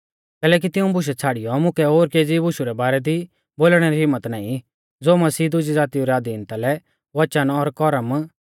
कैलैकि तिऊं बुशै छ़ाड़ियौ मुकै ओर केज़ी बुशु रै बारै दी बोलणै री हिम्मत नाईं ज़ो मसीहै दुजी ज़ातीऊ री अधीनता लै वचन और करम